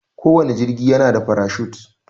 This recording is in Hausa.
Kowanne jigi yana da farashut.